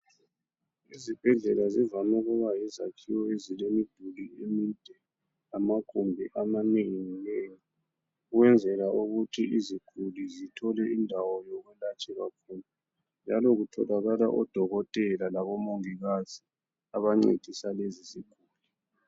Izibhedlela zivame ukuba yizakhiwo ezilemiduli emide, lamagumbi amanengi nengi ukwenzela ukuthi iziguli zithole indawo yokulatshelwa khona. Njalo kutholakala oDokotela laboMongikazi abancedisa lezi ziguli.